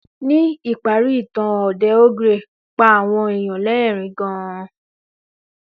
Ní ìparí ìtàn òdè ogre pa àwọn èèyàn lẹ́ẹ̀rín gan